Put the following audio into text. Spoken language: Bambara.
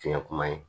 Fiɲɛ kuma ye